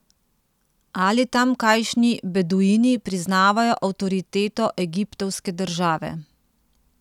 Ali tamkajšnji beduini priznavajo avtoriteto egiptovske države?